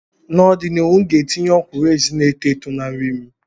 N'ọdịnihu, m ga-etinye ọkwụrụ-ezi na-eto eto na nri m.